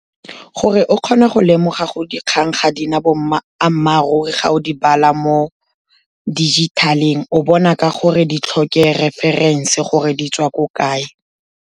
Gore o kgone go lemoga gore dikgang ga di na bo ammaruri ga o di bala mo dijithaleng, o bona ka gore di tlhoke referense gore di tswa ko kae.